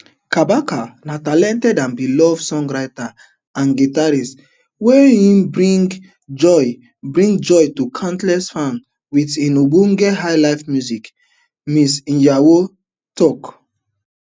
kabaka na talented and beloved songwriter and guitarist wey him bring joy bring joy to countless fans wit im ogbonge highlife music ms iyawo tok